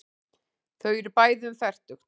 Þau eru bæði um fertugt.